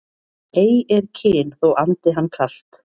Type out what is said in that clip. Ei er kyn þó andi hann kalt